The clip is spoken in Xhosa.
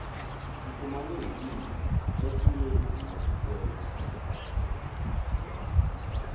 sifumane imo esnyeziweyo